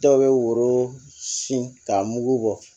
Dɔw bɛ woro sin ka mugu bɔ